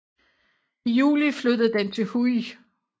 I juli flyttede den til Huj